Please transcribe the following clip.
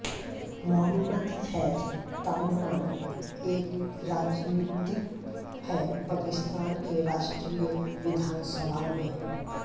मुहम्मद फैज़ ताममान एक राजनीतिज्ञ है पाकिस्तान के राष्ट्रीय विधानसभा में